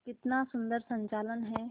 कितना सुंदर संचालन है